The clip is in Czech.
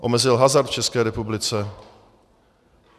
Omezil hazard v České republice.